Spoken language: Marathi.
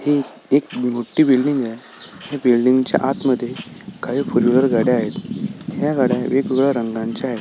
ही एक मोठी बिल्डिंगय ह्या बिल्डिंगच्या आतमध्ये काही फुलवेर गाड्या आहेत ह्या गाड्या वेगवेगळ्या रंगांच्या आहेत.